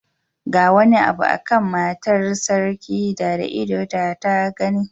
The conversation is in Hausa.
Ga wani abu a kan matar sarki da da ido da ta gani.